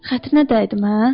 Xətrinə dəydim hə?